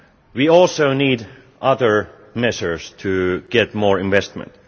We also need other measures to get more investment.